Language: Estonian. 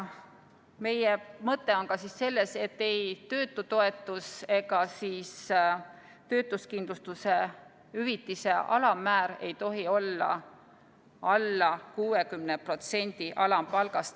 Meie mõte on ka selles, et ei töötutoetus ega töötuskindlustushüvitise alammäär tohi olla alla 60% alampalgast.